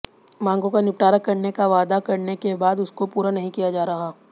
मांगों का निपटारा करने का वादा करने के बाद उसको पूरा नहीं किया जा रहा